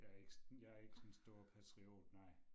Jeg ikke jeg ikke den store patriot nej